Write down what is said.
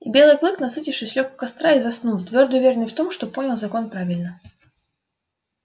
и белый клык насытившись лёг у костра и заснул твёрдо уверенный в том что понял закон правильно